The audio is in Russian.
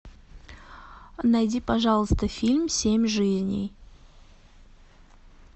найди пожалуйста фильм семь жизней